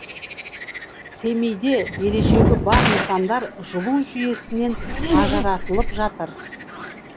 семейде берешегі бар нысандар жылу жүйесінен ажыратылап жатыр